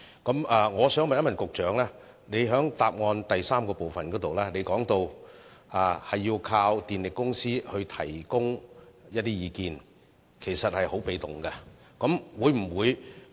局長，主體答覆第三部分說要依靠電力公司提供意見，這其實是很被動的做法。